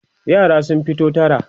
yara sun fito tara